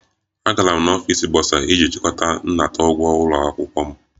Agara m n'ọfịs bọsa iji chịkọta nnata ụgwọ ụlọ akwụkwọ m